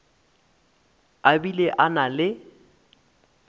a bile a na le